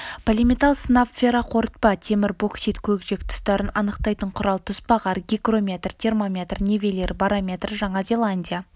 полиметалл сынап ферроқорытпа темір боксит көкжиек тұстарын анықтайтын құрал тұсбағар гигрометр термометр нивелир барометр жаңа зеландия